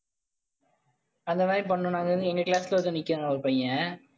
அந்த மாதிரி பண்ணனும் நாங்கன்னு எங்க class ல ஒருத்த நிக்கிறான் ஒரு பையன்.